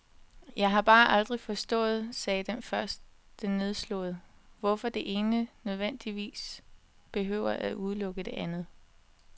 Jeg har bare aldrig forstået, sagde den første nedslået, hvorfor det ene nødvendigvis behøver at udelukke det andet.